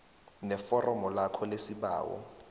neforomo lakho lesibawo